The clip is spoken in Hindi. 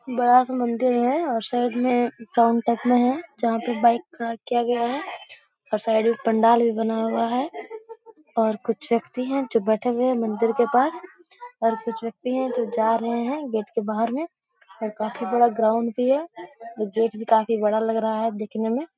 बड़ा-सा मंदिर हैं और साइड में काउंटक में है जहाँ पे बाइक खड़ा किया गया है और साइड में पंडाल भी बना हुआ है और कुछ व्यक्ति हैं जो बैठे हुए है मंदिर के पास और कुछ व्यक्ति हैं जो जा रहे है गेट के बाहर में और काफी बड़ा ग्राउंड भी है और गेट काफी बड़ा लग रहा है दिखने में।